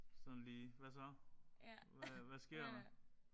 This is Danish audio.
Sådan lige hvad så hvad sker der?